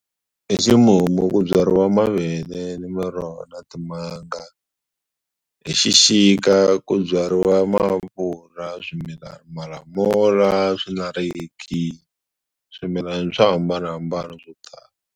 Hi ximumu ku byariwa mavele ni miroho na timanga hi xixika ku byariwa maapula, swimilani, malamula, swinarekisi, swimilana swo hambanahambana swo tala.